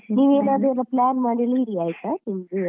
ನೀನ್ ಏನ್ ಆದ್ರೂ plan ಮಾಡಿ ಇಡಿ ಆಯ್ತಾ?